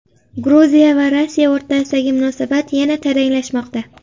Gruziya va Rossiya o‘rtasidagi munosabat yana taranglashmoqda.